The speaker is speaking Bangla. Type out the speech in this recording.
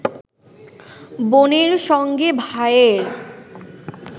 বোনের সঙ্গে ভাইয়ের